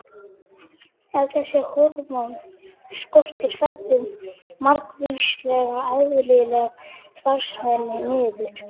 Ef þessi hormón skortir fellur margvísleg eðlileg starfsemi niður.